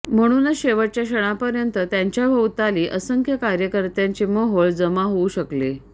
म्हणूनच शेवटच्या क्षणापर्यंत त्यांच्याभोवताली असंख्य कार्यकर्त्यांचे मोहोळ जमा होऊ शकले